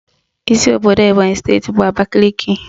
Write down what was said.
Isi obodo Ebonyị steeti bụ Abakaliki